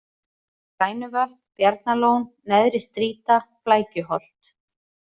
Grænuvötn, Bjarnalón, Neðri-Strýta, Flækjuholt